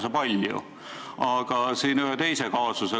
Ühe teise kaasusega seoses tekkis mul veel üks küsimus.